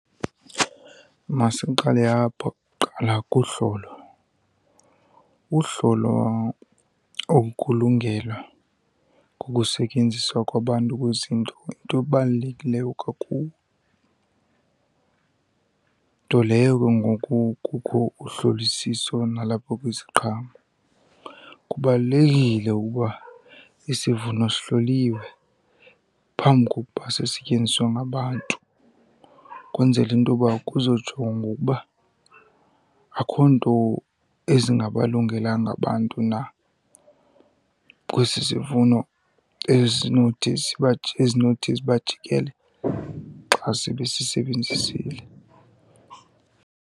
Masiqale apho kuqala kuhlolo. Uhlolo okulungela kukusetyenziswa kwabantu kwezinto yinto ebalulekileyo kakhulu, nto leyo ke ngoku kukho uhlolisiso nalapho kwiziqhamo. Kubalulekile ukuba isivuno sihloliwe phambi kokuba sisetyenziswe ngabantu, kwenzele into yoba kuzojongwa ukuba akho nto ezingabalungelanga abantu na kwesi sivuno ezinothi ziba , ezinothi zibajikele xa sebesisebenzisile.